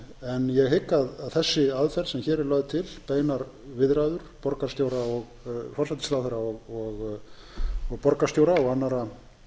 en ég hygg að þessi aðferð sem hér er lögð til beinar viðræður borgarstjóra forsætisráðherra og borgarstjóra og annarra